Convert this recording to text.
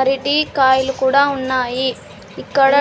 అరటికాయలు కూడా ఉన్నాయి ఇక్కడ